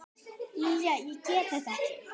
Lilja, ég get þetta ekki.